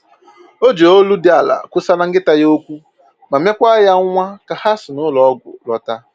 O ji olu dị ala kwusaraa nkịta ya okwu ma mekwa ya nwa ka ha si n'ụlọ ọgwụ lọta